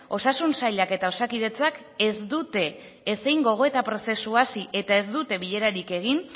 osasun sailak eta osakidetzak ez dute ez gogoeta prozesua hasi eta ez dute bilerarik egin